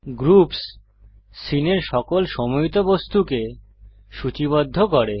groups সীনের সকল সমুহীত বস্তুকে সূচীবদ্ধ করে